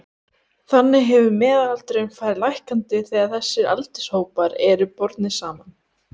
Þannig hefur meðalaldurinn farið lækkandi þegar þessir aldurshópar eru bornir saman.